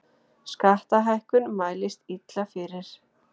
Skattahækkun mælist illa fyrir